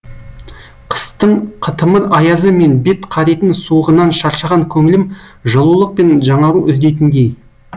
қыстың қытымыр аязы мен бет қаритын суығынан шаршаған көңлім жылулық пен жаңару іздейтіндей